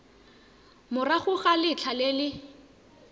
morago ga letlha le le